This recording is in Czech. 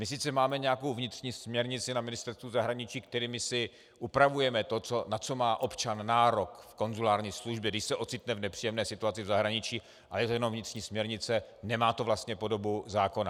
My sice máme nějakou vnitřní směrnici na Ministerstvu zahraniční, kterou si upravujeme to, na to má občan nárok v konzulární službě, když se ocitne v nepříjemné situaci v zahraničí, ale je to jenom vnitřní směrnice, nemá to vlastně podobu zákona.